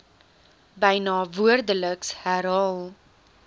byna woordeliks herhaal